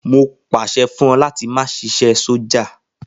Mo pàṣẹ fún ẹ láti máa ṣiṣẹ́ sọ́jà.